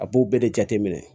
A b'u bɛɛ de jateminɛ